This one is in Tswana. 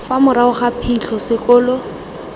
fa morago ga phitlho sekolo